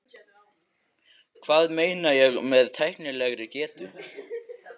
Hvað meina ég með tæknilegri getu?